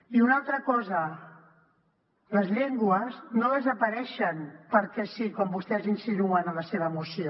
i una altra cosa les llengües no desapareixen perquè sí com vostès insinuen en la seva moció